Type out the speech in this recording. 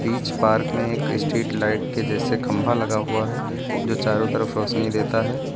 इस पार्क में एक स्ट्रीट लाइट के जैसे खंभा लगा हुआ है जो चारों तरफ रोशनी देता है।